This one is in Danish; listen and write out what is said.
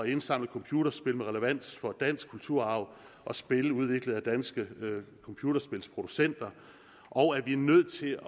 indsamle computerspil med relevans for dansk kulturarv og spil udviklet af danske computerspilproducenter og at vi er nødt til